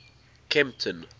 kempton